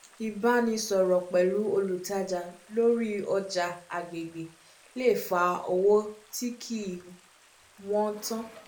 ìbánisọ̀rọ̀ pẹ̀lú olùtajà lórí ọjà agbègbè le fa owó tí kì í wọ́n tó